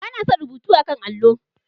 Ba na son rubutu a 'kan allo.